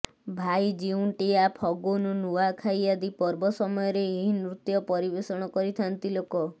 ଭାଇଜିଉଣ୍ଟିଆ ଫଗୁନ୍ ନୂଆଖାଇ ଆଦି ପର୍ବ ସମୟରେ ଏହି ନୃତ୍ୟ ପରିବେଷଣ କରିଥାନ୍ତି ଲୋକ